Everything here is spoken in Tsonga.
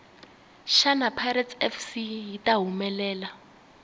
shana pirates fc yita hhumelela